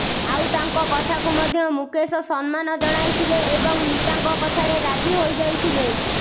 ଆଉ ତାଙ୍କ କଥାକୁ ମଧ୍ୟ ମୁକେଶ ସମ୍ମାନ ଜଣାଇଥିଲେ ଏବଂ ନିତାଙ୍କ କଥାରେ ରାଜି ହୋଇଯାଇଥିଲେ